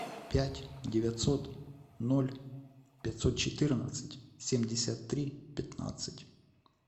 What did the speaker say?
пять девятьсот ноль пятьсот четырнадцать семьдесят три пятнадцать